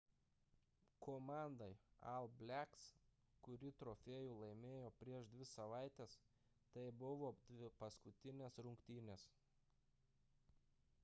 komandai all blacks kuri trofėjų laimėjo prieš dvi savaites tai buvo paskutinės rungtynės